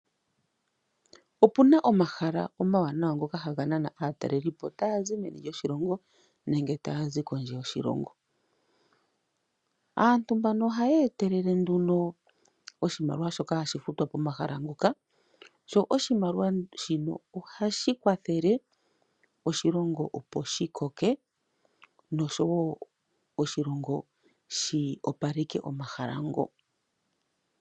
Opu na omahala omawanawa ngoka haga nana aatalelipo taya zi meni lyoshilongo nenge pondje yoshilongo. Aantu mbano ohaye etelele nduno oshimaliwa shi hashi futwa pomahala ngoka. Sho oshimaliwa shino ohashi kwathele oshilongo opo shi koke nosho wo oshilongo shi opaleke omahala ngo.